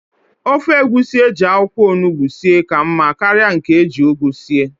Ofe egusi eji akwụkwọ ọnụgbu sie ka mma karịa nke eji ugu sie